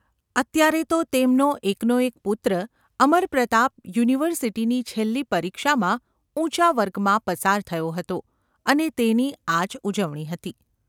અત્યારે તો તેમનો એકનો એક પુત્ર અમરપ્રતાપ યુનિવર્સિટીની છેલ્લી પરીક્ષામાં ઊંચા વર્ગમાં પસાર થયો હતો અને તેની આજ ઉજવણી હતી.